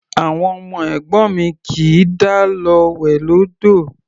Àwọn ọmọ ẹ̀gbọ́n mi kì í dá lọ wẹ̀ lódò.